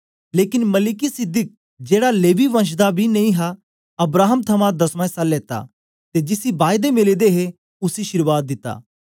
लेकन मलिकिसिदक जेड़ा लेवी वंश दा बी नेई हा अब्राहम थमां दसमां इस्सा लेता ते जिसी बायदा मिले दे हे उसी अशीर्वाद दिती